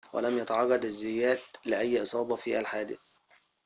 ولم يتعرض الزيات لأي إصابة في الحادث